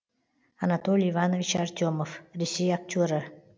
анатолий иванович артемов ресей актері